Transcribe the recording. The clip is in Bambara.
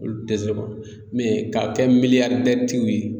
Olu tɛ bɔ k'a kɛ miliyari ye